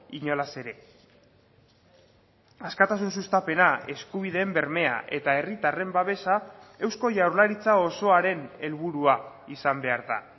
inolaz ere askatasun sustapena eskubideen bermea eta herritarren babesa eusko jaurlaritza osoaren helburua izan behar da